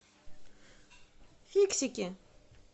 фиксики